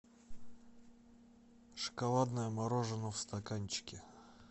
шоколадное мороженое в стаканчике